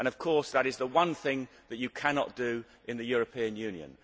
Of course, that is the one thing you cannot do in the European Union.